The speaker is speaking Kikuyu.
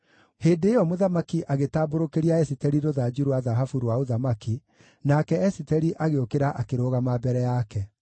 Hĩndĩ ĩyo mũthamaki agĩtambũrũkĩria Esiteri rũthanju rwa thahabu rwa ũthamaki, nake Esiteri agĩũkĩra akĩrũgama mbere yake.